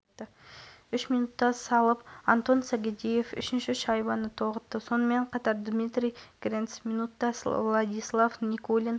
халық арена айдынында өткен кездесуде жастарымыз ерекше өнер көрсетті төрешінің ысқырығы естілісімен алға ұмтылған айдын иелері